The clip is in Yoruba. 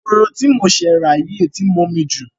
Eroho tí mo ṣẹ̀ rà yìí tí ń mu omi jù.